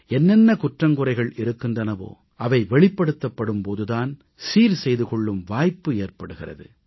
என்னென்ன குற்றம்குறைகள் இருக்கின்றனவோ அவை வெளிப்படுத்தப்படும் போது தான் சீர்செய்து கொள்ளும் வாய்ப்பு ஏற்படுகிறது